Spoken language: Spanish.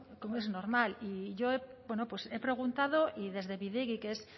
como es normal yo bueno pues he preguntado y desde bidegi que es